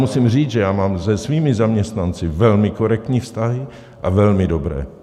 Musím říct, že já mám se svými zaměstnanci velmi korektní vztahy a velmi dobré.